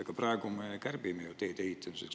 Aga praegu me kärbime ju teede ehitamisest.